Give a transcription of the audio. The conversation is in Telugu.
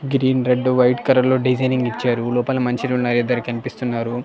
గ్రీన్ రెడ్ వైట్ కలర్ లో డిజైనింగ్ ఇచ్చారు లోపల మనుషులు ఉన్నారు ఇద్దరు కనిపిస్తున్నారు.